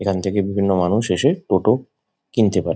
এখান থেকে বিভিন্ন মানুষ এসে টোটো কিনতে পারে।